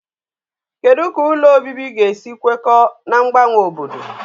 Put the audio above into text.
Kedu ka ụlọ obibi ga-esi kwekọọ na mgbanwe obodo?